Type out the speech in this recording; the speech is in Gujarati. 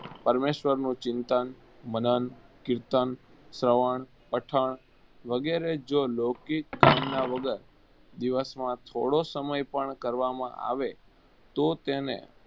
પરમેશ્વરનું ચિંતન, મનન, કિર્તન, શ્રવણ, પઠણ વગેરે જો લૌકિક કામના વગર દિવસમાં થોડો પણ સમય કરવામાં આવે તો તેને